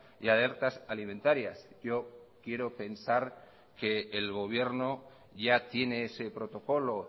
y alertas alimentarias yo quiero pensar que el gobierno ya tiene ese protocolo